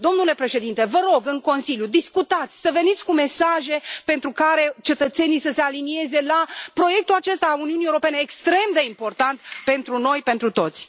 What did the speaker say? Domnule președinte, vă rog, în Consiliu, discutați, să veniți cu mesaje pentru care cetățenii să se alinieze la proiectul acesta al Uniunii Europene extrem de important pentru noi, pentru toți.